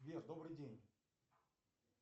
сбер добрый день